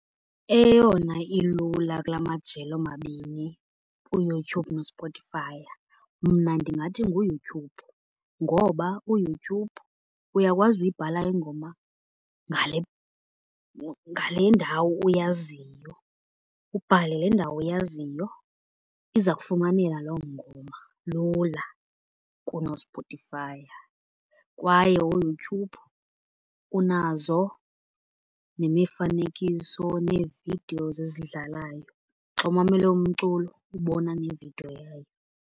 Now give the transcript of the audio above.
Eyona ilula kula majelo omabini uYouTube noSpotify mna ndingathi nguYouTube, ngoba uYouTube uyakwazi uyibhala ingoma ngale ndawo uyaziyo, ubhale le ndawo uyaziyo iza kufumaneka loo ngoma lula kunoSpotify Kwaye uYouTube unazo nemifanekiso, nee-videos ezidlalayo. Xa umamele umculo ubona nevidiyo yayo.